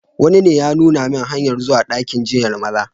Wani ne ya nuna min hanyar zuwa dakin jinyar Maza.